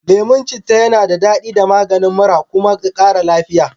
Leman cita yana dadaɗi da da maganin mura. kuma kara lafiya.